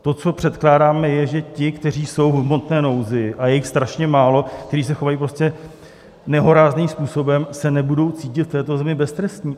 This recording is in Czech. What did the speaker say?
To, co předkládáme, je, že ti, kteří jsou v hmotné nouzi, a je jich strašně málo, kteří se chovají prostě nehorázným způsobem, se nebudou cítit v této zemi beztrestní.